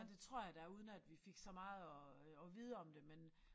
Ja det tror jeg der er uden at vi fik så meget at at vide om det men